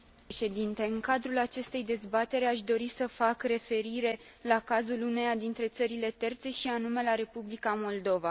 În cadrul acestei dezbateri aș dori să fac referire la cazul uneia dintre țările terțe, și anume la Republica Moldova.